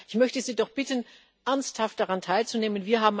Das heißt, ich möchte Sie doch bitten, ernsthaft daran teilzunehmen.